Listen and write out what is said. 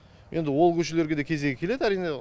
енді ол көшелерге де кезегі келеді әрине